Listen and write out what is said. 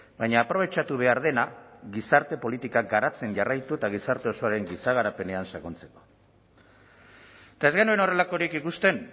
baina aprobetxatu behar dena gizarte politikak garatzen jarraitu eta gizarte osoaren giza garapenean sakontzeko eta ez genuen horrelakorik ikusten